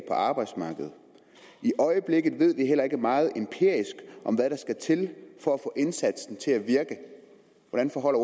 arbejdsmarkedet i øjeblikket ved vi heller ikke meget om hvad der skal til for at få indsatsen til at virke hvordan forholder